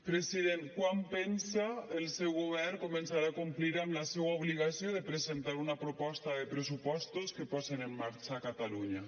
president quan pensa el seu govern començar a complir amb la seua obligació de presentar una proposta de pressupostos que posen en marxa catalunya